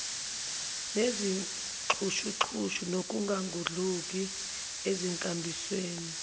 nezixhushuxhushu nokungangudluki enkambisweni